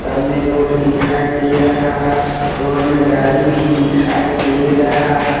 सामने रोड दिखाई दे रहा है रोड में गाड़ी भी दिखाई दे रहा है।